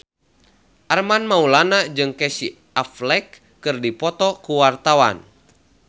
Armand Maulana jeung Casey Affleck keur dipoto ku wartawan